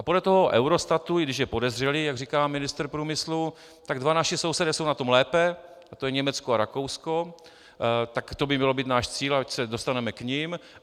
A podle toho Eurostatu, i když je podezřelý, jak říká ministr průmyslu, tak dva naši sousedé jsou na tom lépe, a to je Německo a Rakousko - tak to by měl být náš cíl, ať se dostaneme k nim.